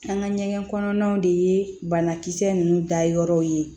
An ka ɲɛgɛn kɔnɔnaw de ye banakisɛ ninnu dayɔrɔ ye